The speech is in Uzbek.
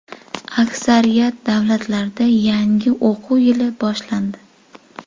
Aksariyat davlatlarda yangi o‘quv yili boshlandi.